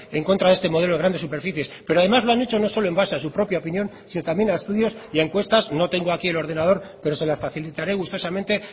en contra de este modelo de grandes superficies pero ademáslo han hecho no solo envase a su propia opinión sino también a estudios y a encuestas no tengo aquí en ordenador pero se las facilitará gustosamente